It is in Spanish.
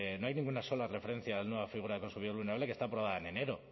no hay ninguna sola referencia a la nueva figura de consumidor vulnerable que está aprobada en enero